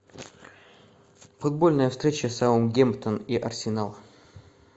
футбольная встреча саутгемптон и арсенал